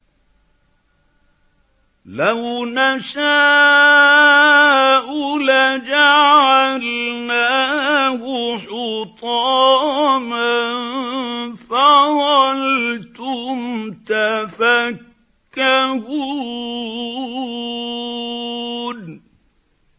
لَوْ نَشَاءُ لَجَعَلْنَاهُ حُطَامًا فَظَلْتُمْ تَفَكَّهُونَ